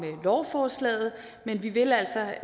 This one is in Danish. lovforslaget men vi vil altså